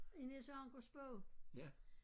I Niels Ankers bog